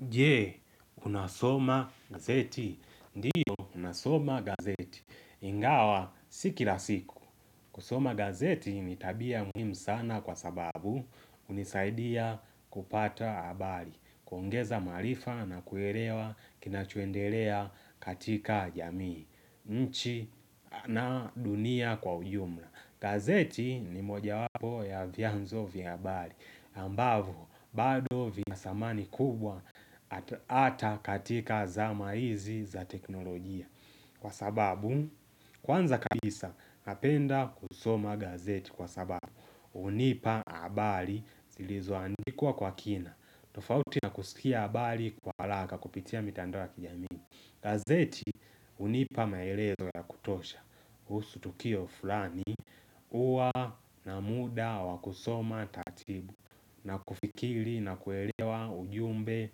Jee, unasoma gazeti. Ndiyo nasoma gazeti. Ingawa si kila siku. Kusoma gazeti ni tabia muhimu sana kwa sababu hunisaidia kupata habari, kuongeza maarifa na kuelewa kinachoendelea katika jamii, nchi na dunia kwa ujumla. Gazeti ni moja wapo ya vianzo vya habari ambavo, bado vi na samani kubwa ata katika zama hizi za teknolojia Kwa sababu, kwanza kabisa napenda kusoma gazeti kwa sababu hUnipa habari zilizo andikwa kwa kina tofauti na kusikia habari kwa haraka kupitia mitandao ya kijamii gazeti hunipa maelezo ya kutosha kuhusu tukio fulani huwa na muda wakusoma taratibu na kufikiri na kuelewa ujumbe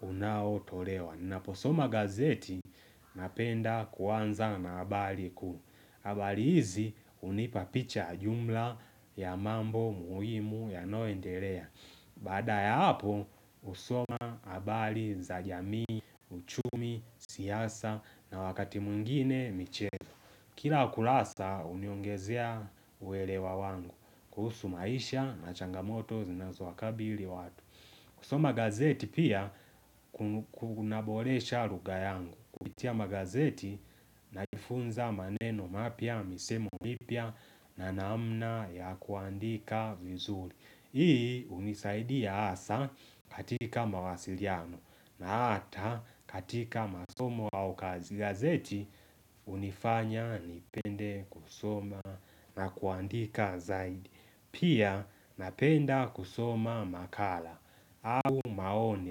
unao tolewa ninaposoma gazeti napenda kuanza na habari kuu habari hizi hunipa picha jumla ya mambo muhimu yanayo endelea Baada ya hapo husoma habari za jamii, uchumi, siasa na wakati mwingine miche Kila kurasa huniongezea uelewa wangu kuhusu maisha na changamoto zinazo wakabili watu kusoma gazeti pia kunaboresha lugha yangu Kupitia magazeti najifunza maneno mapya, misemo mipya na namna ya kuandika vizuri Hii hunisaidia hasa katika mawasiliano na hata katika masomo au gazeti hunifanya nipende kusoma na kuandika zaidi. Pia napenda kusoma makala au maoni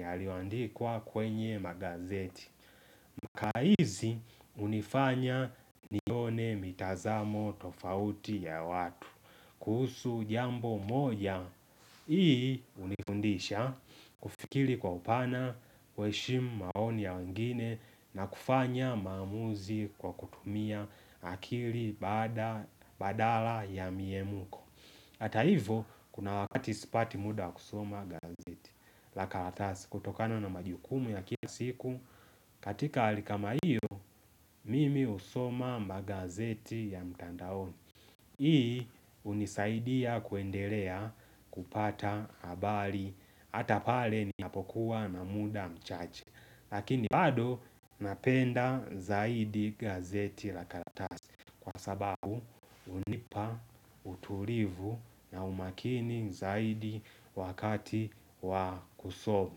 yaliyoandikwa kwenye magazeti. Ka hizi hunifanya nione mitazamo tofauti ya watu kuhusu jambo moja Hii hunifundisha kufikiri kwa upana kuheshimu maoni ya wengine na kufanya maamuzi kwa kutumia akili badala ya miemko Ata hivo kuna wakati sipati muda kusoma gazeti la kalatasi kutokano na majukumu ya kia siku katika hali kama hiyo, mimi husoma magazeti ya mtandaoni Hii hunisaidia kuendelea kupata habari hAtapale ninapokuwa na muda mchache Lakini bado napenda zaidi gazeti la karatasi Kwa sababu hunipa utulivu na umakini zaidi wakati wakusoma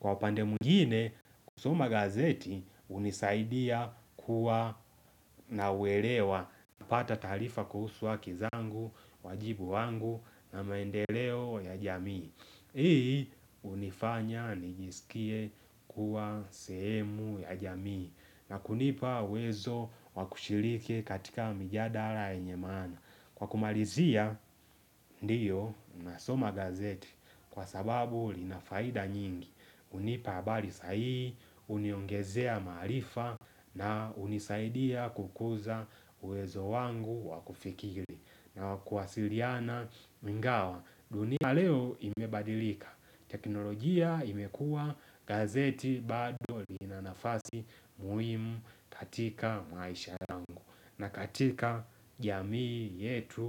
Kwa upande mwngine kusoma gazeti hunisaidia kuwa na uelewa napata tarifa kuhusu haki zangu, wajibu wangu na maendeleo ya jamii Hii hunifanya nijisikie kuwa sehemu ya jamii na kunipa uwezo wa kushiriki katika mijadara yenye maana Kwa kumalizia ndio na soma gazeti kwa sababu linafaida nyingi hunipa habari sahihi, huniongezea maarifa na hunisaidia kukuza uwezo wangu wakufikiri na kuwasiliana ingawa. Dunia leo imebadilika, teknolojia imekua, gazeti bado lina nafasi muhimu katika maisha yangu na katika jamii yetu.